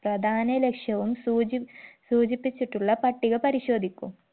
പ്രധാന ലക്ഷ്യവും സൂചി സൂചിപ്പിച്ചിട്ടുള്ള പട്ടിക പരിശോധിക്കു